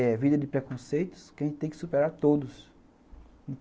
É vida de preconceitos que a gente tem que superar todos.